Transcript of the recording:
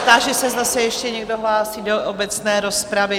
Táži se, zda se ještě někdo hlásí do obecné rozpravy?